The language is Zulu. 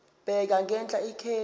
bheka ngenhla ikheli